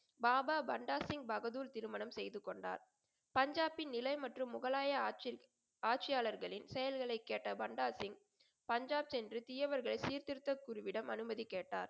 பாபா பண்டா சிங் பகதூர் திருமணம் செய்துகொண்டார். பஞ்சாபின் நிலை மற்றும் முகலாய ஆட்சியாளர்களின் செயல்களை கேட்ட பண்டாசிங் பஞ்சாப் சென்று தீயவர்களை சீர்திருத்த குருவிடம் அனுமதி கேட்டார்.